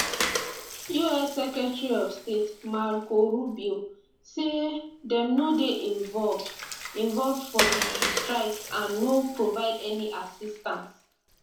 us secretary of state marco rubio say dem no dey involved involved for di strikes and no provide any assistance